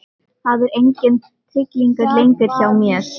Það er enginn tryllingur lengur hjá mér.